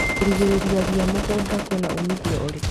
Kũrigĩrĩria ria mũgũnda kwĩna umithio ũrĩkũ?